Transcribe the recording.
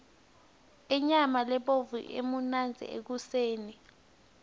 inyama lebovu imnandzi ekoseni